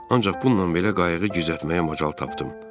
Ancaq bununla belə qayığı düzəltməyə macal tapdım.